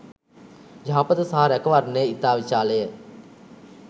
යහපත සහ රැකවරණය ඉතා විශාල ය.